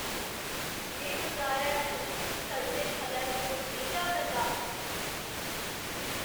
में बजारै च उस सड़दे फलै दे कोल नेईं जा करदा।